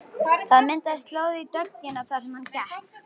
Það myndaðist slóð í dögg- ina þar sem hann gekk.